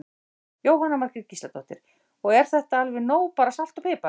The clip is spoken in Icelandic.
Jóhanna Margrét Gísladóttir: Og er þetta alveg nóg bara salt og pipar?